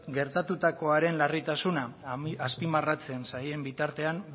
gertatutakoaren larritasuna azpimarratzen zaien bitartean